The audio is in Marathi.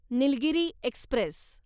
निलगिरी एक्स्प्रेस